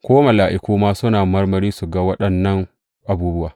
Ko mala’iku ma suna marmari su ga waɗannan abubuwa.